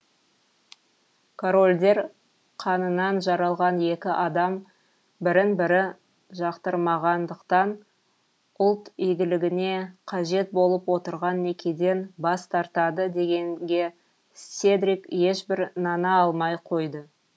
корольдер қанынан жаралған екі адам бірін бірі жақтырмағандықтан ұлт игілігіне қажет болып отырған некеден бас тартады дегенге седрик ешбір нана алмай қойды